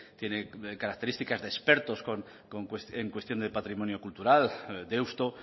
tiene características de expertos en cuestión de patrimonio cultural deusto